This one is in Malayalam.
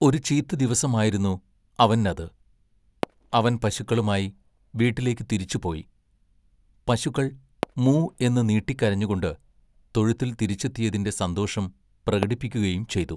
ഒരു ചീത്ത ദിവസമായിരുന്നു അവന്നത്. അവൻ പശുക്കളുമായി വീട്ടിലേക്ക് തിരിച്ചുപോയി. പശുക്കൾ മൂ എന്ന് നീട്ടിക്കരഞ്ഞുകൊണ്ട് തൊഴുത്തിൽ തിരിച്ചെത്തിയതിൻ്റെ സന്തോഷം പ്രകടിപ്പിക്കുകയും ചെയ്തു.